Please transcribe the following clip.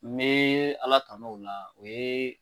Me Ala tan'o la, o ye